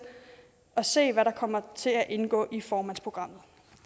at se hvad der kommer til at indgå i formandsprogrammet